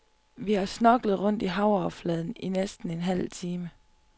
Vi har snorklet rundt i havoverfladen i næsten en halv time.